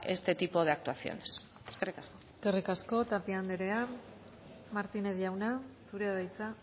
este tipo de actuaciones eskerrik asko eskerrik asko tapia andrea martínez jauna zurea da hitza